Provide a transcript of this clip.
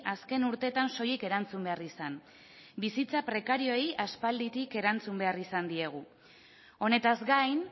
azken urteetan soilik erantzun behar izan bizitza prekarioei aspalditik erantzun behar izan diegu honetaz gain